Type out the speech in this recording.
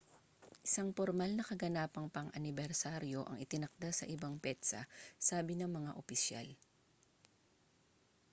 isang pormal na kaganapang pang-anibersaryo ang itinakda sa ibang petsa sabi ng mga opisyal